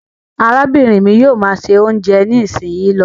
arábìnrin mí yóò má ṣe oúnjẹ nisinyi ló.